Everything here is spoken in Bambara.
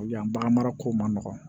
Yan bagan marako man nɔgɔn